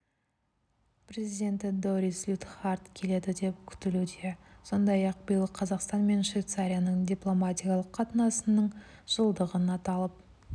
президенті дорис лютхард келеді деп күтілуде сондай-ақ биыл қазақстан мен швейцария дипломатиялық қатынасының жылдығын аталып